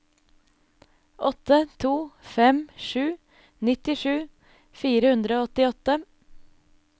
åtte to fem sju nittisju fire hundre og åttiåtte